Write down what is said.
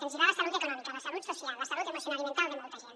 ens hi va la salut econòmica la salut social la salut emocional i mental de molta gent